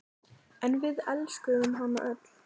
En við elskuðum hana öll.